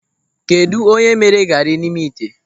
Kedụ onye mere gari nọ n'ime ite?